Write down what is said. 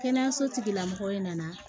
Kɛnɛyaso tigila mɔgɔ nana